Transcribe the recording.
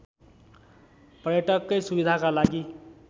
पर्यटककै सुविधाका लागि